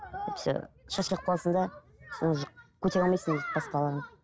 әйтпесе шашылып қаласың да сен уже көтере алмайсың дейді басқаларын